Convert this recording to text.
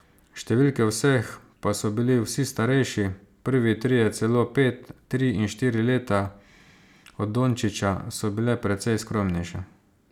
Številke vseh, pa so bili vsi starejši, prvi trije celo pet, tri in štiri leta, od Dončića, so bile precej skromnejše.